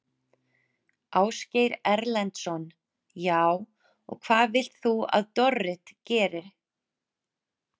Ásgeir Erlendsson: Já, og hvað vilt þú að Dorrit geri?